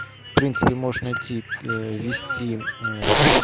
в принципе можешь найти аа ввести аа